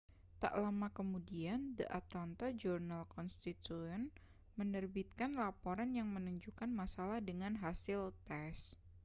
tak lama kemudian the atlanta journal-constitution menerbitkan laporan yang menunjukkan masalah dengan hasil tes